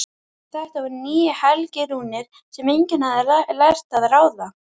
Þetta voru nýjar helgirúnir sem enginn hafði lært að ráða.